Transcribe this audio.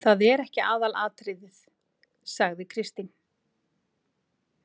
Það er ekki aðalatriðið, sagði Kristín.